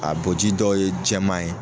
A boji dɔw ye jɛman ye